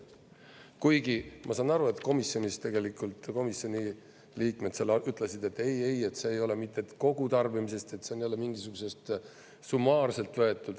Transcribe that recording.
Kuigi ma saan aru, et komisjonis tegelikult komisjoni liikmed seal ütlesid, et ei, ei, see ei ole mitte kogu tarbimisest, see on jälle mingisugusest summaarselt võetud.